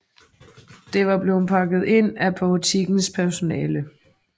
Det var blevet pakket ind af butikkens personale